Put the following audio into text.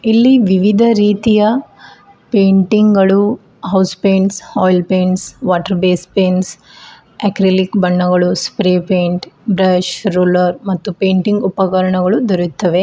ಇಲ್ಲಿ ವಿವಿಧ ರೀತಿಯ ಪೇಂಟಿಂಗ್ ಗಳು house paints oil paints water base paints acrylic ಬಣ್ಣಗಳು ಸ್ಪ್ರೇ ಪೆಂಟ್ ಬ್ರಷ ರುಲರ್ ಮತ್ತು ಪೇಂಟಿಂಗ್ ಉಪಕರನಗಳು ದೊರೆಯುತ್ತವೆ.